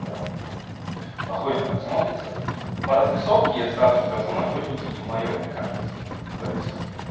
прямо ахуенно так смотрится по развесовке я сразу скажу нагрудники не моё мне кажется то есть